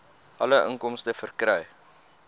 alle inkomste verkry